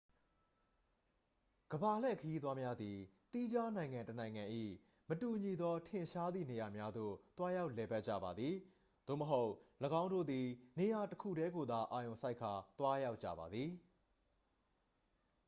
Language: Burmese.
ကမ္ဘာလှည့်ခရီးသွားများသည် သီးခြားနိုင်ငံတစ်နိုင်ငံ၏ မတူညီသော ထင်ရှားသည့်နေရာများသို့ သွားရောက်လည်ပတ်ကြပါသည် သို့မဟုတ် ၎င်းတို့သည် နေရာ တစ် ခုတည်းကိုသာအာရုံစိုက်ကာ သွားရောက်ကြပါသည်